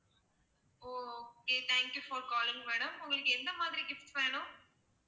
O okay thank you for calling madam உங்களுக்கு எந்த மாதிரி gifts வேணும்?